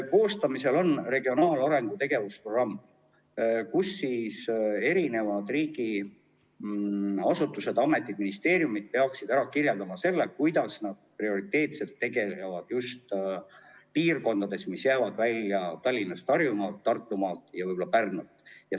Koostamisel on regionaalarengu tegevusprogramm, kus riigiasutused, ametid ja ministeeriumid peaksid ära kirjeldama, kuidas nad tegutsevad prioriteetsetes piirkondades, mis jäävad välja Tallinnast, Harjumaalt, Tartumaalt ja Pärnust.